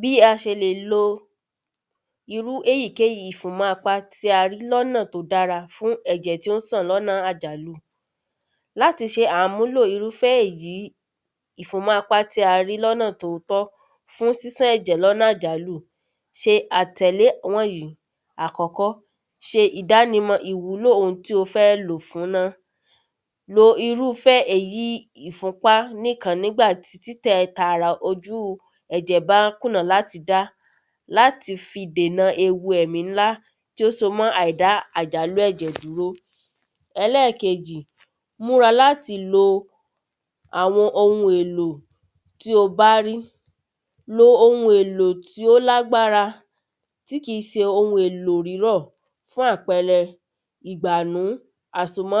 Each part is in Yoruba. Bí a ṣe lè lo irú èyíkéyì ìfúnmọ́ apá tí a rí ní ọ̀nà tí ó dára fún ẹ̀jẹ̀ tí ó ń ṣàn ní ọ̀nà àjàlu Láti ṣe àmúlò ìrúfé èyí ìfúnmọ́apá ní ọ̀nà tí ó tọ́ fún ṣísan ẹ̀jẹ̀ ní ọ̀nà àjàlu ṣe àtẹ̀lé wọ̀nyìí Àkọ́kọ́ Ṣe ìdánimọ̀ ìwúlò oun tí o fẹ́ lò ó fún ná Lo ìrúfé èyí ìfúnpá nìkan nígbà tí títẹ tara ojú ẹ̀jẹ̀ bá kùnà láti dá láti fi dènà ewu ẹ̀mi ńlá tí ó so mọ́ àìdá àjàlu ẹ̀jẹ̀ dúró Ẹlẹ́ẹ̀kejì Múra láti lo àwọn oun èlò tí o bá rí Lo oun èlò tí ó lágbára tí kìí ṣe oun èlò rírọ̀ Fún àpẹẹrẹ ìgbánu àsomọ́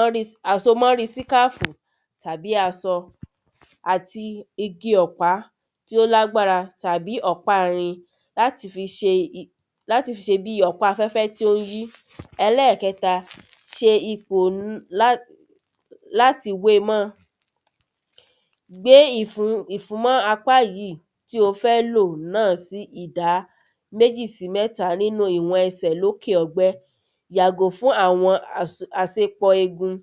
àsomọ́rí scarf tàbí aṣọ àti igi ọ̀pá tí ó lágbára tàbí ọ̀pá irin láti fi ṣe I láti fi ṣe bíi ọ̀pá afẹ́fẹ́ tí ó ń yí Ẹlẹ́ẹ̀kẹta Ṣe ipò láti we mọ́ Gbe ìfún yìí tí ó fẹ́ lò náà sí ìdá méjì sí mẹ́ta nínú ìwọ̀n ẹsẹ̀ ní òkè ọgbẹ́ Yàgò fún àwọn as àṣepọ̀ egun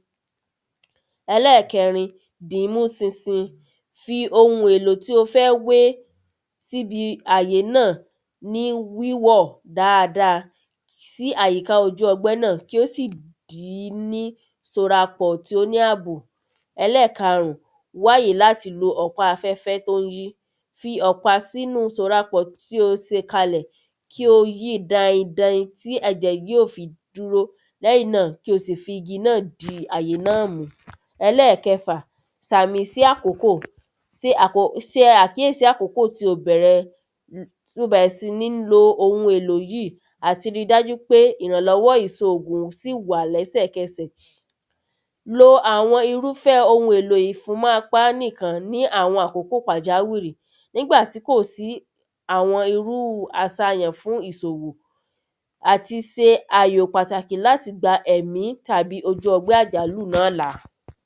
Ẹlẹ́ẹ̀kẹrin Dì í mú ṣinṣin Fi oun èlò tí o fẹ́ wé sí ibi àyè náà ní wíwọ́ dáadáa sí àyíká ojú ọgbẹ́ náà kí ó sì dì í ní sorapọ̀ tí ó ní àbò Ẹlẹ́ẹ̀karun Wá àyè láti lò ọ̀pá afẹ́fẹ́ tí ó ń yí Fi ọ̀pá sínú ìsorapọ̀ tí ó ṣe kalẹ̀ kí o yi dain dain tí ẹ̀jẹ̀ yóò fi dúró lẹ́yìn náà kí o sì fi igi náà di àyè náà mú Ẹlẹ́ẹ̀kẹfà Sàmì sí àkókò Ṣe àkíyèsi àkókò tí o bẹ̀rẹ̀ tí o bẹ̀rẹ̀ si ní lo ògùn yìí àti ri dájú pé ìrànlọ́wọ́ ìṣòògùn sì wà lẹ́sẹ̀kẹsẹ̀ Lo àwọn ìrúfé oun èlò ìfúnmọ́apá nìkan ní àwọn akókò pàjáwìrì nígbà tí kò sí àwọn irú àṣàyàn fún ìṣòwò Àti ṣe àyò pàtàkì láti gba ẹ̀mí tàbí ojú ọgbẹ́ àjàlu náà là